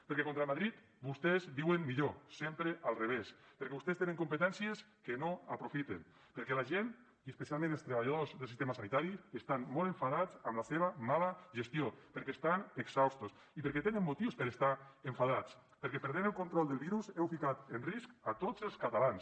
perquè contra madrid vostès viuen millor sempre al revés perquè vostès tenen competències que no aprofiten perquè la gent i especialment els treballadors del sistema sanitari estan molt enfadats amb la seva mala gestió perquè estan exhaustos i perquè tenen motius per estar enfadats perquè perdent el control del virus heu ficat en risc a tots els catalans